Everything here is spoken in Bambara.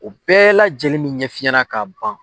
U bɛɛ la lajɛlen min ɲɛf'i ɲɛna ka ban